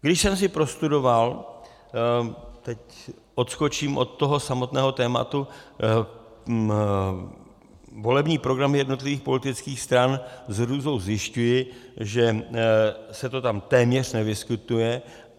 Když jsem si prostudoval - teď odskočím od toho samotného tématu - volební program jednotlivých politických stran, s hrůzou zjišťuji, že se to tam téměř nevyskytuje.